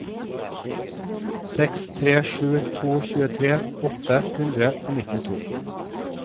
seks tre sju to tjuetre åtte hundre og nittito